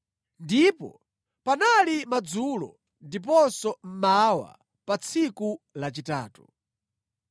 Ndipo panali madzulo ndiponso mmawa pa tsiku lachitatu.